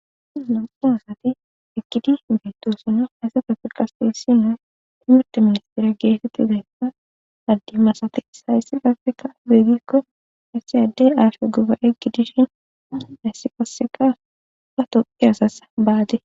Lamxun asati ekidish bettosino haysefa firqasteyssine imeta ministira geetetti zayssa addi masati issahayssi gafeka beegikko issi addey aafia guba eggi dishin haissi qoseka pa topeyasas baade.